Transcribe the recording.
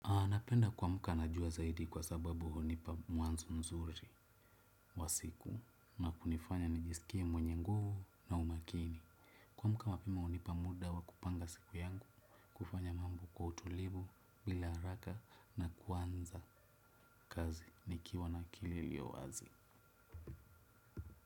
Napenda kuamka najua zaidi kwa sababu hunipa mwanzo mzuri wa siku na kunifanya nijisikie mwenye nguvu na umakini. Kuamuka mapema unipa muda wa kupanga siku yangu, kufanya mambo kwa utulivu bila haraka na kuanza kazi nikiwa na kililio wazi.